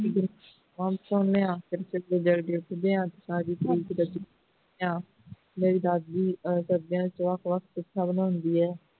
ਸੁਨੇਹਾ ਤੇ ਫੇਰ ਅਸੀਂ ਜਲਦੀ ਉਠਿਆ ਤੇ ਸਾਰੀ ਮੇਰੀ ਦਾਦੀ ਹੁੰਦੀ ਹੈ